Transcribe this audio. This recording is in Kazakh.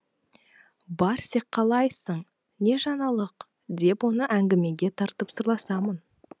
барсик қалайсың не жаңалық деп оны әңгімеге тартып сырласамын